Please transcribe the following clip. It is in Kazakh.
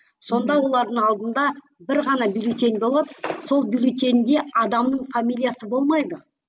сонда олардың алдында бір ғана бюллетень болады сол бюллетеньде адамның фамилиясы болмайды